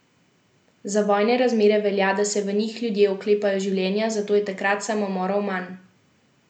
Za vojne razmere velja, da se v njih ljudje oklepajo življenja, zato je takrat samomorov manj.